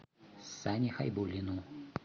сане хайбуллину